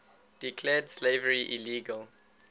declared slavery illegal